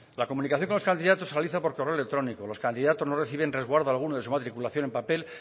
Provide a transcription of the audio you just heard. la comunicación con los candidatos se realiza por correo electrónico los candidatos no reciben resguardo alguno de su matriculación en papel